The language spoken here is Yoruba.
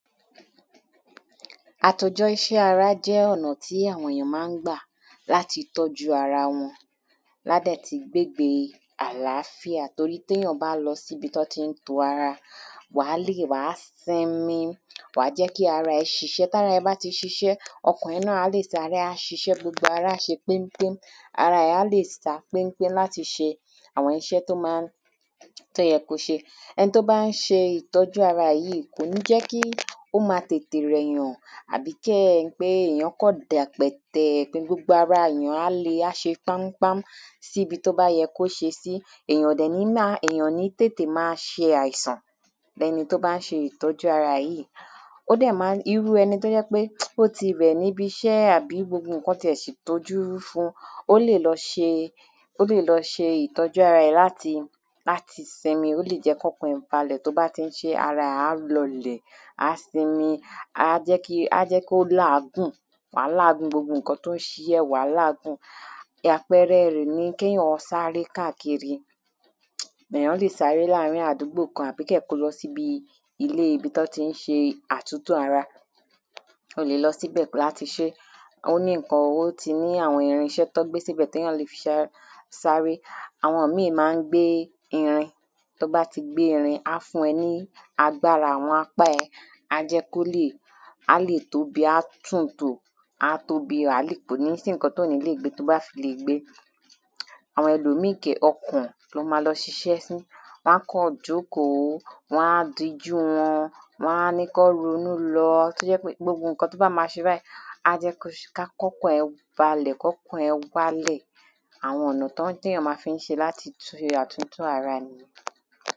Àtòjọ iṣẹ́ ara jẹ́ ọ̀nà tí àwọn èyàn ma ń gbà láti tọ́jú ara wọn lá dẹ̀ ti gbégbe àláfíà torí téyàn bá lọsí ibi tí wọ́n ti ń to ara, wà lẹ́, wà sinmi, wà jẹ́ kí arà é ṣiṣẹ́, tàra ẹ báti ṣiṣẹ, ọkàn rẹ náà á lẹ̀ ṣiṣẹ́ gbogbo ara á ṣe péḿpéḿ, arà ẹ á lè sá péḿpéḿ ṣe àwọn iṣẹ́ tó ma ń, tó yẹ ko ṣe, ẹni tó bá ṣe ìtọ́jú ara yí, kò ní jẹ́ kí ó ma tètè rẹ̀ yàn àbí kí ẹni pé èyán kàn dẹ̀pẹ̀tẹ̀, gbogbo ara èyàn á le, á ṣe páḿpáḿ síbi tó bá yẹ kó ṣe sí, èyàn ò dẹ̀ ní ma, ènìyàn ò ní tètè ma ṣe àìsàn, ní ẹni tó bá ṣe ìtọ́jú ara yí, ó dẹ̀ ma ń, irú ẹni tó jẹ́ pé ó ti rẹ̀ níbi iṣẹ́ àbí gbogbo ǹkan ti è ti dojú rú fun, ó lè lọ ṣe, ó lè lọ ṣe ìtọ́jú ara rẹ̀ láti, láti sinmi, ó lè jẹ́ kí ọkàn rẹ̀ balẹ̀ tí ó bá ti ń ṣe, ara rẹ̀ á lọ lẹ̀, á sinmi, á jẹ́ kí, á jẹ́ kí á jẹ́ kó làágùn, wàá làágùn gbogbo ǹkan tí ó ń ṣe ẹ́, wàá làágùn, àpẹrẹ rẹ̀ ni kí èyán sáré káàkiri, èyán lẹ̀ sáré láàrin àdúgbò kan àbí kí èyàn kó lọ síbi ilé ibi tí wọ́n ti ń ṣe àtúntò ara, ó lè lọ síbẹ̀ láti ṣé, ó ní ǹkan owó ti ní àwọn irinṣẹ́ tí wọ́n gbé síbẹ̀, tí èyàn le fi sáré, àwọn mí ma ń gbé irin, tí wọ́n bá ti gbé irin á fún ẹ ní agbára, àwọn apa ẹ, á jẹ́ kó lè, á lè tóbi, á tun tò, á tóbi, kò ní sí ǹkan tí ò ní lè gbé to bá fi lè gbe, àwọn ẹlòmí ọkàn ló ma lọ ṣiṣẹ́ fún, wọ́n á kàn jókòó, wọ́n á dijú wọn, wọ́n á ní kí wọ́n ronú lọ, tí ó jẹ́ pé gbogbo ǹkan tí ó bá ma ṣe báyìí, á jẹ́ kó, kí ọkàn rẹ balẹ̀, kí ọkàn rẹ wálẹ̀, àwọn ọ̀nà tí èyàn ma fi ń ṣe láti ṣe àtúntò ara nì yí.